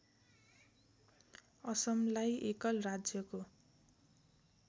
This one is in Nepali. असमलाई एकल राज्यको